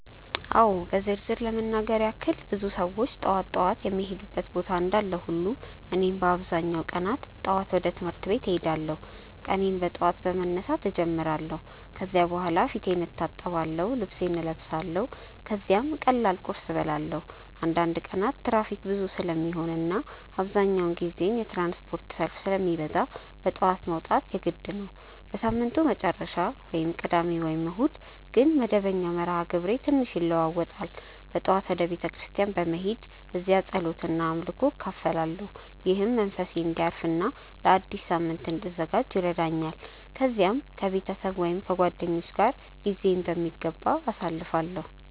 አዎ በዝርዝር ለመናገር ያክል ብዙ ሰዎች ጠዋት ጠዋት የሚሄዱበት ቦታ እንዳለ ሁሉ እኔም በአብዛኛው ቀናት ጠዋት ወደ ትምህርት ቤት እሄዳለሁ። ቀኔን በጠዋት በመነሳት እጀምራለሁ ከዚያ በኋላ ፊቴን እታጠብአለሁ፣ ልብሴን እለብሳለሁ ከዚያም ቀላል ቁርስ እበላለሁ። አንዳንድ ቀናት ትራፊክ ብዙ ስለሚሆን እና አብዛኛውን ጊዜ የትራንስፖርት ሰልፍ ስለሚበዛ በጠዋት መውጣት የግድ ነው። በሳምንቱ መጨረሻ (ቅዳሜ ወይም እሁድ) ግን መደበኛው መርሃ ግብሬ ትንሽ ይለዋዋጣል። በጠዋት ወደ ቤተ ክርስቲያን በመሄድ እዚያ ጸሎት እና አምልኮ እካፈላለሁ፣ ይህም መንፈሴን እንዲያርፍ እና ለአዲስ ሳምንት እንድዘጋጅ ይረዳኛል። ከዚያም ከቤተሰብ ወይም ከጓደኞች ጋር ጊዜዬን በሚገባ አሳልፋለሁ።